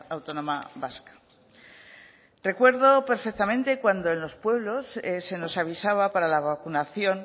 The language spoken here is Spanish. autónoma vasca recuerdo perfectamente cuando en los pueblos se nos avisaba para la vacunación